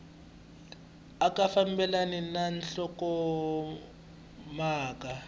a ya fambelani na nhlokomhaka